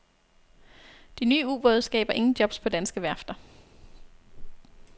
De nye ubåde skaber ingen jobs på danske værfter.